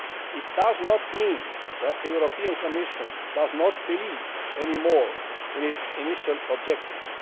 It does not mean that the Commission does not believe anymore in its initial objectives.